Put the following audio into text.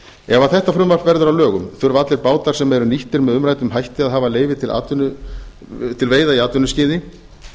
ef þetta frumvarp verður að lögum þurfa allir bátar sem eru nýttir með umræddum hætti að hafa leyfi til veiða í atvinnuskyni